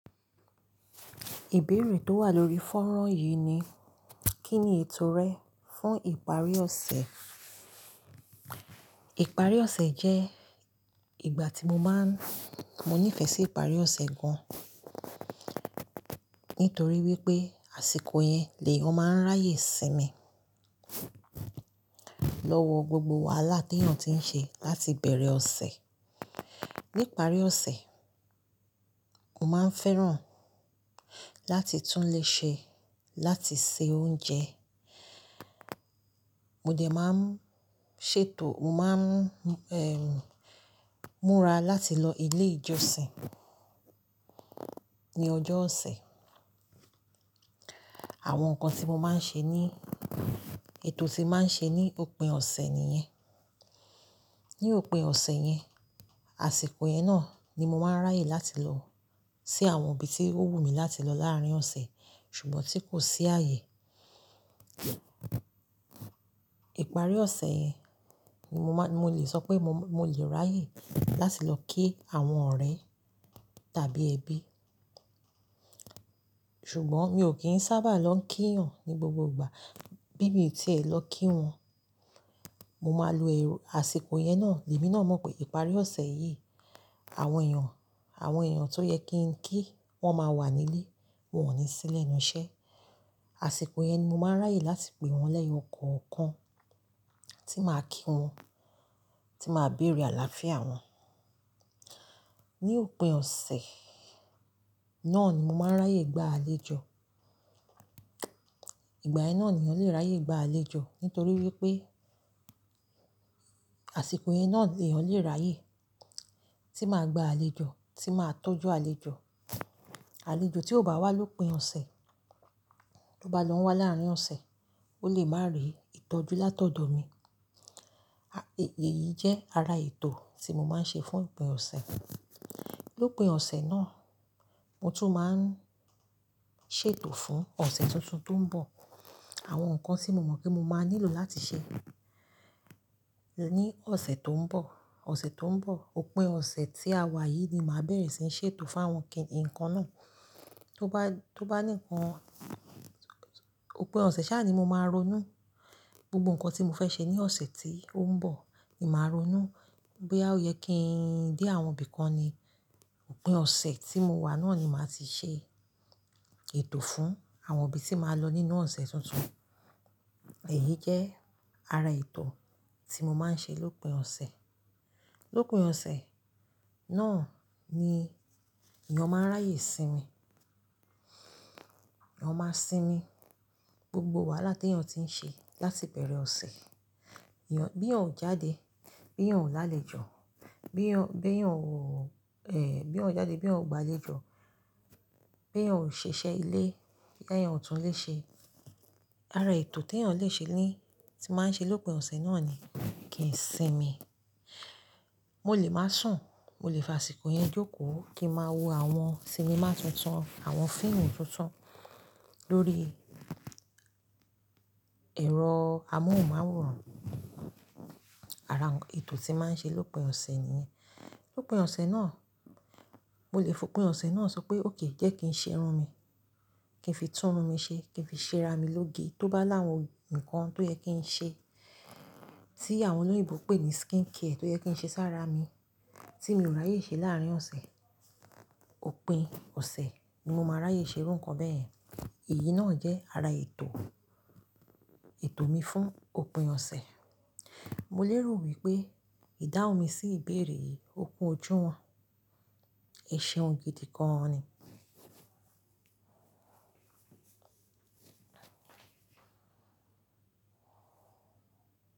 Ìbéèrè tó wà lórí fọ́nrán yìí ni, kí ni ètò rẹ fún ìparí ọ̀sẹ̀? Ìparí ọ̀sẹ̀ jẹ́ ìgbà tí mo máa ń, mo nífẹ̀ẹ́ sí ìparí ọ̀sẹ̀ gan-an, nítorí wípé àsìkò yẹn lè eyàn máa ń ráyè sí mi. Lọ́wọ́ gbogbo wàhálà tí èèyàn ti ń ṣe láti bẹ̀rẹ̀ ọ̀sẹ̀. Ní ìparí ọ̀sẹ̀, mo máa ń fẹ́ràn láti túnlé ṣe, láti se oúnjẹ. Mo dẹ̀ máa ń ṣètò, mo máa ń, ehn, múra láti lọ ilé ìjọsìn ní ọjọ́ ọ̀sẹ̀. Àwọn nǹkan tí mo máa ń ṣe ní, ètò tí màá ń ṣe ní òpin ọ̀sẹ̀ nìyẹn. Ní òpin ọ̀sẹ̀ yẹn, àsìkò yẹn náà ni mo máa ń ráyè láti lọ sí àwọn ibi tí ó wù mí láti lọ láàárín ọ̀sẹ̀, ṣùgbọ́n tí kò sí ààyè. Ìparí ọ̀sẹ̀ yẹn ni mo máa; mo lè sọ pé mo, mo lè ráyè láti lọ kí àwọn ọ̀rẹ́ tàbí ẹbí. Ṣùgbọ́n mi ò kí ń sábà lọ kí èèyàn ní gbogbo ìgbà. Bí mo ti e lè lọ kí wọn, mo máa lo èrò, àsìkò yẹn náà, èmi náà mọ̀ pé ìparí ọ̀sẹ̀ yìí, àwọn èèyàn, àwọn èèyàn tó yẹ kí n kí wọ́n máa wà nílé, wọ́n ò ní sílẹ̀ inú iṣẹ́. Àsìkò yẹn ni mo máa ń ráyè láti pè wọ́n lẹ́yọ̀ ọ̀kọ̀ọ̀kan tí màá kí wọn, tí màá bèrè àlàáfíà wọn. Ní òpin ọ̀sẹ̀ náà ni mo máa ń ráyè gba àlejò. Ìgbà yẹn náà ni ọ̀lẹ́ ráyè gba àlejò, nítorí wípé àsìkò yẹn náà, èèyàn lè ráyè tí màá gba àlejò, tí màá tọ́jú àlejò. Àlejò tí ò bá wá lópin ọ̀sẹ̀, tó bá lọ n wá láàárín ọ̀sẹ̀, ó lè má rí ìtọ́jú látọ̀dọ̀ mi. Èyí jẹ́ ara ètò tí mo máa ń ṣe fún òpin ọ̀sẹ̀. Lópin ọ̀sẹ̀ náà, mo tún máa ń ṣètò fún ọ̀sẹ̀ tuntun tó ń bọ̀. Àwọn nǹkan tí mo mọ̀ pé mo máa nílò láti ṣe ní ọ̀sẹ̀ tó ń bọ̀. Ọ̀sẹ̀ tó ń bọ̀, òpin ọ̀sẹ̀ tí a wà yìí ni màá bẹ̀rẹ̀ sí í ṣètò fáwọn kín, nnkan náà. Tó bá, tó bá nìkan, òpin ọ̀sẹ̀ sáà ni mo máa ronú. Gbogbo nǹkan tí mo fẹ́ ṣe ní ọ̀sẹ̀ tí ó ń bọ̀ ni màá ronú. Boya o yẹ kí ń dé àwọn ibi kan ni òpin ọ̀sẹ̀ tí mo wà náà ni màá ti ṣe ètò fún àwọn ibi tí màá lọ nínú ọ̀sẹ̀ tuntun. Èyí jẹ́ ara ètò tí mo máa ń ṣe lópin ọ̀sẹ̀. Lópin ọ̀sẹ̀ náà ni ìyàn máa ń ráyè sí mi. Eeyan máa sinmi. Gbogbo wàhálà tí èèyàn ti ń ṣe láti bẹ̀rẹ̀ ọ̀sẹ̀. Ìyàn, bí èèyàn ò jáde, bí èèyàn ò lálẹ́ jọ̀, bí èèyàn, bí èèyàn ò, ehn, bí èèyàn ò jáde, bí èèyàn ò gba àlejò, bí èèyàn ò ṣẹ̀ ise ilé, bí èèyàn ò túnlé ṣe. Ara ètò tí èèyàn lè ṣe ní, tí màá ń ṣe lópin ọ̀sẹ̀ náà ni kì í sinmi. Mo lè máa sùn, mo lè fò àsìkò yẹn jókòó kí n máa wo àwọn sinimá tuntun, àwọn fíìmù tuntun lórí ẹ̀rọ amóhùnmáwòrán. Ara ètò tí màá ń ṣe lópin ọ̀sẹ̀ nìyẹn. Lópin ọ̀sẹ̀ náà, mo lè fún òpin ọ̀sẹ̀ náà sọ pé òkè jẹ́ kí n ṣe irun mi, kí n fi tún irun mi ṣe, kí n fi ṣe ara mi lóge. Tó bá láwọn nǹkan tó yẹ kí n ṣe, tí àwọn olóyèbo ń pè ní skincare tó yẹ kí n ṣe sáré ara mi tí mi ò ráyè ṣe láàárín ọ̀sẹ̀, òpin ọ̀sẹ̀ ni mo máa ráyè ṣe irú nǹkan bẹ́yen. Èyí náà jẹ́ ara ètò, ètò mi fún òpin ọ̀sẹ̀. Mo lérò wípé ìdáhùn mi sí ìbéèrè yìí, òpin ojú wọn, iṣẹ́ ohun gidi gan-an ni.